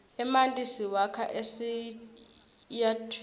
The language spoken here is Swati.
emanti siwakha esiyatwini